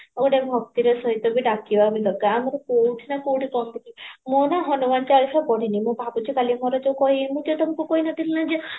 ଗୋଟେ ଭକ୍ତିର ସହିତ ବି ଡାକିବା ବି କଥା ଆମେ କଉଠି ନାଁ କଉଠି ମୁଁ ନାଁ ହନୁମାନ ଚାଳିଶା ପଢିଣୀ ମୁଁ ଭାବୁଚି କାଲି ମୋର ଯୋଉ କହି ମୁଁ ଯୋଉ ତମକୁ କହିନଥିଲି ନାଁ ଯେ